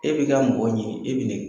E bi ka mɔgɔw ɲini e bi nin kɛ.